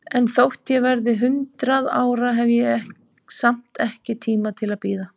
En þótt ég verði hundrað ára, hef ég samt ekki tíma til að bíða.